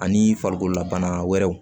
Ani farikololabana wɛrɛw